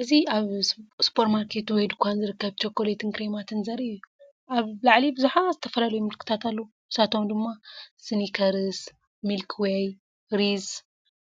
እዚ ኣብ ሱፐርማርኬት ወይ ድኳን ዝርከብ ቸኮሌትን ክሬማትን ዘርኢ እዩ። ኣብ ላዕሊ ብዙሓት ዝተፈላለዩ ምልክታት ኣለዉ፡ ንሳቶም ድማ ስኒከርስ፡ ሚልኪ ዌይ፡ ሪዝስ፡